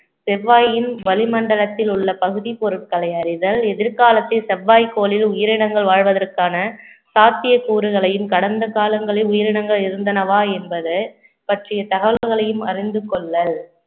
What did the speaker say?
செவ்வாயின் வளிமண்டலத்தில் உள்ள பகுதி பொருட்களை அறிதல் எதிர்காலத்தில் செவ்வாய் கோளில் உயிரினங்கள் வாழ்வதற்கான சாத்தியக்கூறுகளையும் கடந்த காலங்களில் உயிரினங்கள் இருந்தனவா என்பது பற்றிய தகவல்களையும் அறிந்து கொள்ளல்